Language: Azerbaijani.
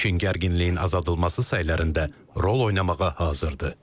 Çin gərginliyin azaldılması sahələrində rol oynamağa hazırdır.